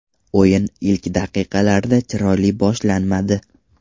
O‘yin ilk daqiqalarda chiroyli boshlanmadi.